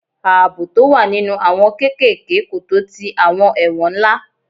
Ààbò tó wà nínú àwọn kéékèèké kò tó ti àwọn ẹ̀wọ̀n ńlá.